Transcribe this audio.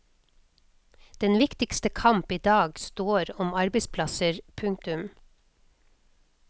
Den viktigste kamp idag står om arbeidsplasser. punktum